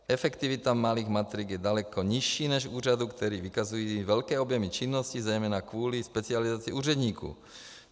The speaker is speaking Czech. Efektivita malých matrik je daleko nižší než úřadů, které vykazují velké objemy činnosti, zejména kvůli specializaci úředníků.